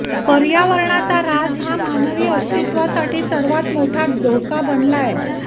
पर्यावरणाचा ऱ्हास हा मानवी अस्तित्त्वासाठी सर्वात मोठा धोका बनलाय